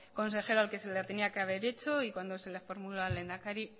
a otro al que se la tenía que haber hecho y cuando se la formulo al lehendakari